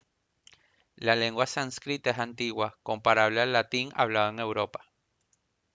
la lengua sánscrita es antigua comparable al latín hablado en europa